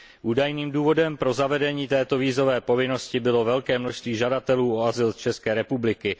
Údajným důvodem pro zavedení této vízové povinnosti bylo velké množství žadatelů o azyl z České republiky.